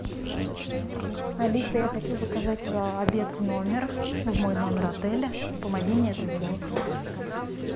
алиса я хочу заказать обед в номер в мой номер отеля помоги мне это сделать